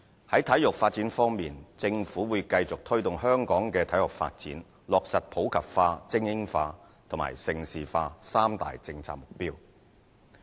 在體育發展方面，政府會繼續推動香港的體育發展，落實普及化、精英化和盛事化三大政策目標。